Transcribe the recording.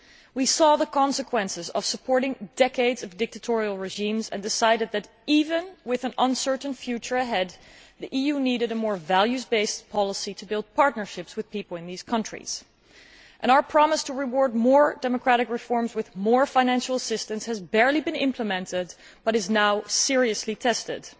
We saw the consequences of supporting decades of dictatorial regimes and decided that, even with an uncertain future ahead, the EU needed a more values based policy to build partnerships with people in these countries. Our promise to reward more democratic reforms with more financial assistance has barely been implemented, but is now being seriously tested.